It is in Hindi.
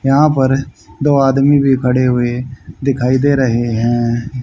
यहां पर दो आदमी भी खड़े हुए दिखाई दे रहे हैं।